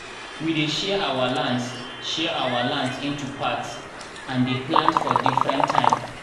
we dey share our lands share our lands into parts and dey plant for different time